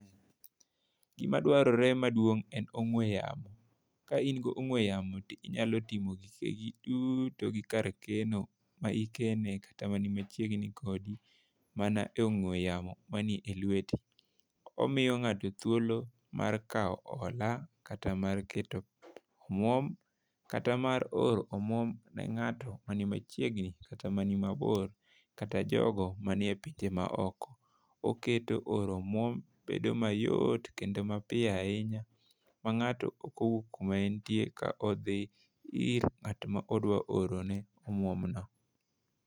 Gima dwarore maduong' en ong'we yamo. Kain go ong'we yamo inyalo timo gi to kar keno ma ikene kata mani machiegni kodi mana e ong'we yamo mani e lweti. Omiyo ng'ato thuolo mar kawo ohala kata mar keto omwom, kata mar oro omwom ne ng'ato mani machiegni kata mani mabor kata jogo mani e pinje maoko . Oketo oro omwom bedo mayot kata mapiyo ahinya ma ng'ato ok owuok kuma entie kodhi ir ng'at modwa oro ne omwom no .